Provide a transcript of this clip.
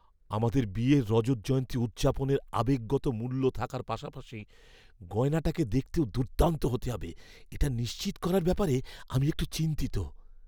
আমাদের বিয়ের রজত জয়ন্তী উদযাপনের আবেগগত মূল্য থাকার পাশাপাশি গয়নাটাকে দেখতেও দুর্দান্ত হতে হবে, এটা নিশ্চিত করার ব্যাপারে আমি একটু চিন্তিত।